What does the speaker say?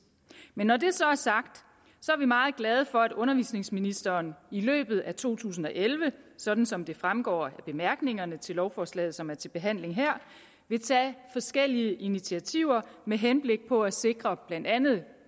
men når det så er sagt er vi meget glade for at undervisningsministeren i løbet af to tusind og elleve sådan som det fremgår af bemærkningerne til lovforslaget som er til behandling her vil tage forskellige initiativer med henblik på at sikre blandt andet